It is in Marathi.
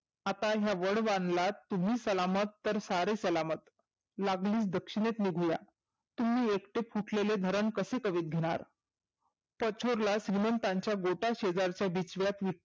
आता ह्या वड वांगलात तुम्ही सलामत तर सारे सलामत. लागलीच दक्षिनेत निघुया. तुम्ही एकटे फुटलेले धरन कसे कवित घेणार? श्रिमंताच्या बोटा शेजारच्या बिछव्यात ही